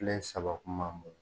File saba kuma bolo.